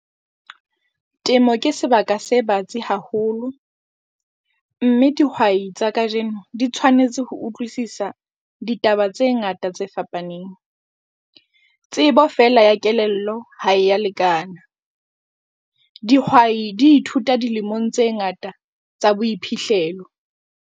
Temo ke sebaka se batsi haholo, mme dihwai tsa kajeno di tshwanetse ho utlwisisa ditaba tse ngata tse fapaneng. Tsebo feela ya kelello ha e a lekana. Dihwai di ithuta dilemong tse ngata tsa boiphihlelo.